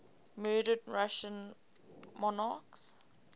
murdered russian monarchs